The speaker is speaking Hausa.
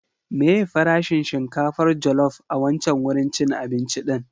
Meye farashin shinkafar jallop a wancan wurin cin abinci din?